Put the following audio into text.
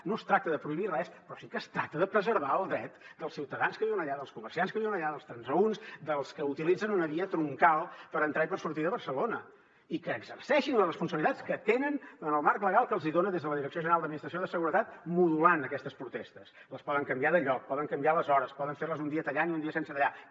no es tracta de prohibir res però sí que es tracta de preservar el dret dels ciutadans que viuen allà dels comerciants que viuen allà dels transeünts dels que utilitzen una via troncal per entrar i per sortir de barcelona i que exerceixin les responsabilitats que tenen en el marc legal que se’ls hi dona des de la direcció general d’administració de seguretat modulant aquestes protestes les poden canviar de lloc poden canviar les hores poden fer les un dia tallant i un dia sense tallar